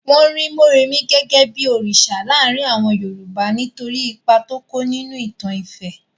Wọ́n rí Morèmi gẹ́gẹ́ bí òrìsà láàrin àwọn Yorùbá nítorí ipa tó kó nínú ìtàn ifẹ̀.